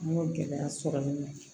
An y'o gɛlɛya sɔrɔ nin na